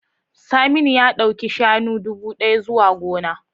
Saminu ya dauki shanu dubu daya zuwa gona.